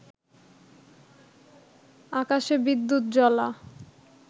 আকাশে বিদ্যুৎজ্বলা